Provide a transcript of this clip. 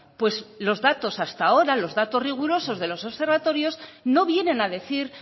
pues los datos hasta ahora los datos rigurosos de los observatorios no vienen a decir